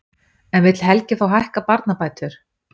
En vill Helgi þá hækka barnabætur?